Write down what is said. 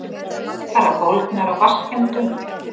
Bara bólgnar af vatnsskemmdum.